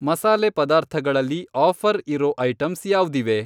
ಮಸಾಲೆ ಪದಾರ್ಥ ಗಳಲ್ಲಿ ಆಫ಼ರ್ ಇರೋ ಐಟಂಸ್ ಯಾವ್ದಿವೆ?